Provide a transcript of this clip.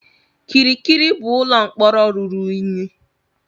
Kirikiri bụ ụlọ mkpọrọ ruru unyi.